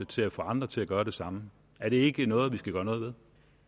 til at få andre til at gøre det samme er det ikke noget vi skal gøre noget ved